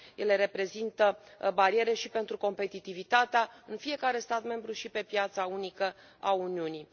Ele reprezintă bariere și pentru competitivitatea în fiecare stat membru, și pe piața unică a Uniunii.